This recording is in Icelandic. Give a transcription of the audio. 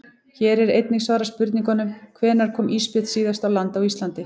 Hér er einnig svarað spurningunum: Hvenær kom ísbjörn síðast á land á Íslandi?